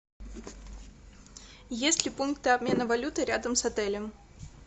есть ли пункты обмена валюты рядом с отелем